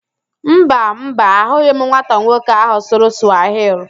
Mba, Mba, ahụghị m nwata nwoke ahụ sụrụ Sụwahili